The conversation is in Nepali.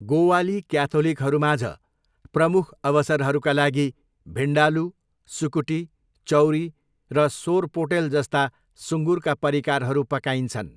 गोवाली क्याथोलिकहरूमाझ प्रमुख अवसरहरूका लागि भिन्डालू, सुकुटी, चौरी र सोरपोटेल जस्ता सुँगुरका परिकारहरू पकाइन्छन्।